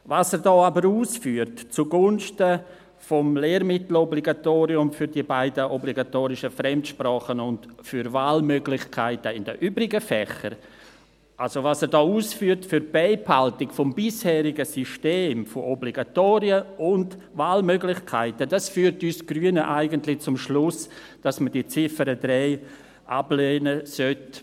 Was er da aber zugunsten des Lehrmittel-Obligatoriums für die beiden obligatorischen Fremdsprachen und für Wahlmöglichkeiten in den übrigen Fächern ausführt, also für die Beibehaltung des bisherigen Systems von Obligatorien und Wahlmöglichkeiten, führt uns Grüne eigentlich zum Schluss, dass man die Ziffer 3 ablehnen sollte.